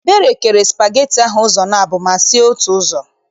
Ebere kere spageti ahụ ụzọ abụọ ma sie otu ụzọ.